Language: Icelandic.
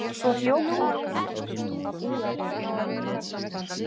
Svo hljóp hún áfram.